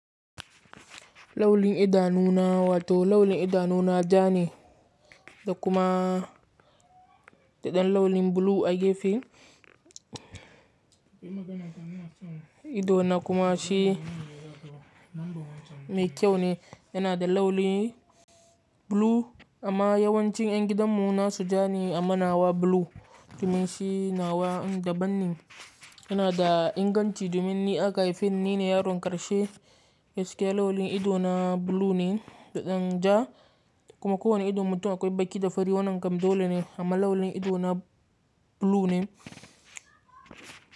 Lauli idanuna wato lauli idanuna ja ne da kuma daɗen laulin blue a gefe. Idona kuma shi mai kyau ne, yana da lauli blue amma yawancin ƴan gidanmu na su ja ne amma nawa blue domin shi nawa da banne. Yana da inganci domin ni aka haifan ni ne yaron ƙarshe. Yes ke laulin idona blue ne daɗen ja kuma kowane ido mutum akwai baki da fari wannan kam dole ne amma laulin idona blue ne.